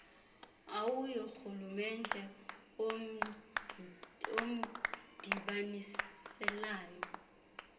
au yorhulumente womdibaniselwano